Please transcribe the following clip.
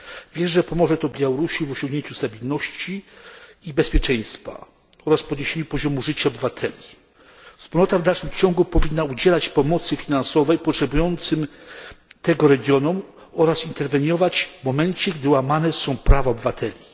Wierzę, że pomoże to Białorusi w osiągnięciu stabilności i bezpieczeństwa oraz w podniesieniu poziomu życia obywateli. Wspólnota w dalszym ciągu powinna udzielać pomocy finansowej potrzebującym tego regionom oraz interweniować w momencie, gdy łamane są prawa obywateli.